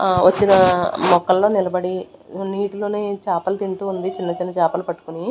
ఆ వచ్చిన మొక్కల్లో నిలబడి నీటిలోని చేపలు తింటూ ఉంది చిన్న చిన్న చేపలు పట్టుకొని.